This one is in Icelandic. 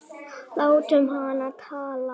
Látum hana tala.